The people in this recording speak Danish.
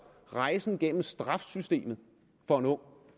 rejsen igennem straffesystemet for en ung